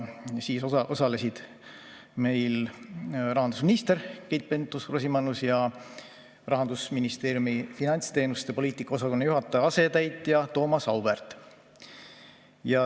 Osalesid rahandusminister Keit Pentus-Rosimannus ja Rahandusministeeriumi finantsteenuste poliitika osakonna juhataja asetäitja Thomas Auväärt.